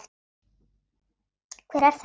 Hver er þetta?